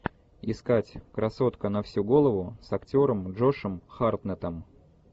искать красотка на всю голову с актером джошем хартнеттом